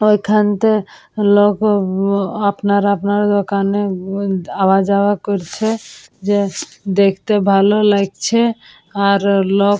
ওখানতে লোগো আপনার আপনারা দোকানে দেখতে আওয়া যাওয়া করছে দেখতে ভালো লাগছে আর লোক--